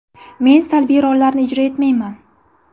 Men salbiy rollarni ijro etmayman.